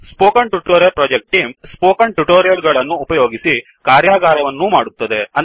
spoken tutorial project team spoken tutorial ಗಳನ್ನು ಉಪಯೋಗಿಸಿ ಕಾರ್ಯಾಗಾರವನ್ನೂ ಮಾಡುತ್ತದೆ